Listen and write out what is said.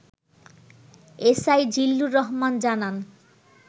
S I Zillur Rahman জানান